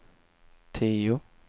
tio